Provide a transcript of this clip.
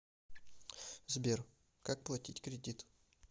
сбер как платить кредит